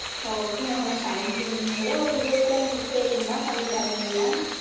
okay mam thank you. நீங்களும் ஒரு விதத்துல எனக்கு saving லா பண்ணி தாறிங்கள.